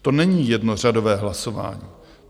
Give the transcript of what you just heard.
To není jednořadové hlasování.